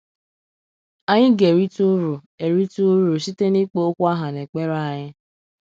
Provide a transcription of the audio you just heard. Anyị ga - erite ụrụ - erite ụrụ site n’ịkpọ okwu aha n’ekpere anyị.